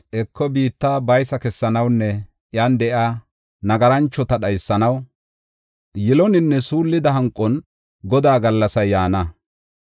Heko biitta baysa kessanawunne iyan de7iya nagaranchota dhaysanaw yiloninne suullida hanqon Godaa gallasay yaana.